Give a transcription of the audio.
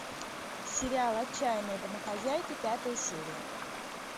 сериал отчаянные домохозяйки пятая серия